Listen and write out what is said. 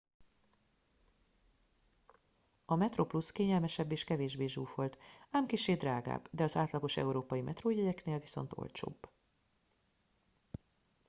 a metroplus kényelmesebb és kevésbé zsúfolt ám kissé drágább de az átlagos európai metrójegyeknél viszont olcsóbb